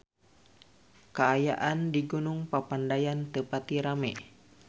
Kaayaan di Gunung Papandayan teu pati rame